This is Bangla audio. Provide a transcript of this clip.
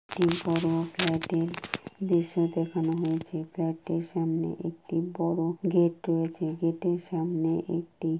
টি বড়ো ফ্ল্যাট এর দৃশ্য দেখানো হয়েছে ফ্ল্যাটটির সামনে একটি বড়ো গেট রয়েছে। গেট এর সামনে একটি--